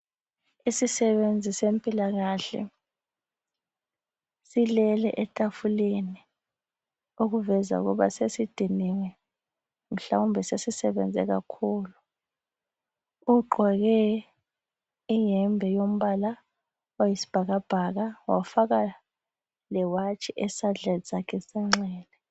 Isisebenzi sezempilakahle silele etafuleni okuveza ukuba sesidiniwe mhlawumbe sesisebenze kakhulu ugqoke iyembe yombala oyisibhakabhaka wafaka lenkombalanga esandleni sakhe senxele.